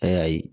A y'a ye